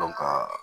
ka